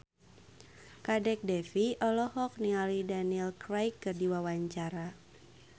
Kadek Devi olohok ningali Daniel Craig keur diwawancara